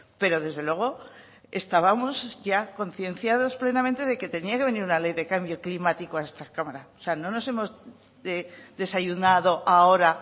pero desde luego estábamos ya concienciados plenamente de que tenía que venir una ley de cambio climático a esta cámara o sea no nos hemos desayunado ahora